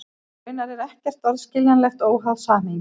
Raunar er ekkert orð skiljanlegt óháð samhengi.